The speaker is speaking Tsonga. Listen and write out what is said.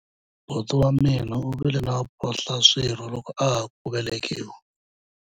buti wa mina u vile na mphohlaswirho loko a ha ku velekiwa